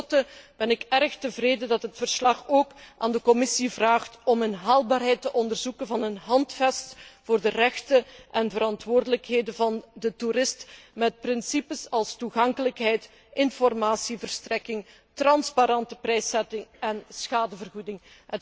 Tenslotte ben ik erg tevreden dat het verslag ook aan de Commissie vraagt om de haalbaarheid te onderzoeken van een handvest voor de rechten en de verantwoordelijkheden van de toerist met principes als toegankelijkheid, informatieverstrekking, transparante prijszetting en schadevergoeding.